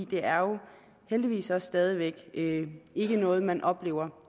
det er jo heldigvis stadig væk ikke noget man oplever